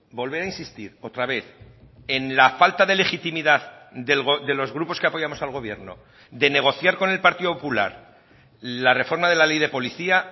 volver a insistir otra vez en la falta de legitimidad de los grupos que apoyamos al gobierno de negociar con el partido popular la reforma de la ley de policía